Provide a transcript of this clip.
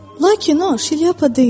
Lakin o, şilyapa deyildi.